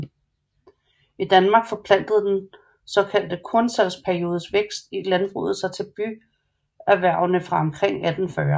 I Danmark forplantede den såkaldte kornsalgsperiodes vækst i landbruget sig til byerhvervene fra omkring 1840